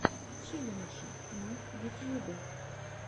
челленджи на ютьюбе